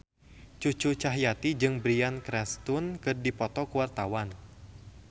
Cucu Cahyati jeung Bryan Cranston keur dipoto ku wartawan